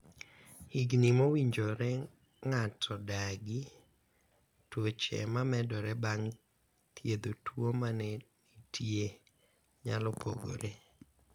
higni mowinjore ng'ato dagi, tuoche mamedore bang' thiedho tuo mane nitie nyalo pogore